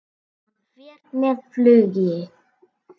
Hann fer með flugi.